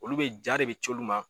Olu be ja de be ci olu ma